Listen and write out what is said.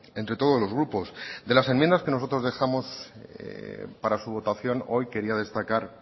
entre todos los grupos de las enmiendas que nosotros dejamos para su votación hoy quería destacar